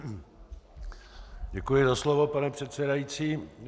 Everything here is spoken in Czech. Děkuji za slovo, pane předsedající.